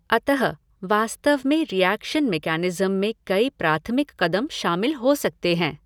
अतः, वास्तव में रिएक्शन मेकैनिज़्म में कई प्राथमिक कदम शामिल हो सकते हैं।